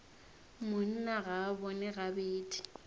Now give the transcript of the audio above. monna ga a bone gabedi